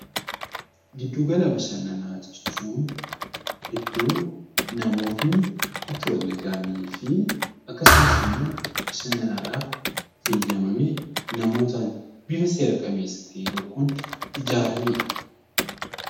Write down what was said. Gidduu gala bashannanaa jechuun iddoo namoonni itti wal ga'anii fi akkasumas immoo bashannanaadhaaf eeyyamame namootaan bifa seera qabeessa ta'e tokkoon ijaaranidha.